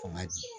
Kɔn ka di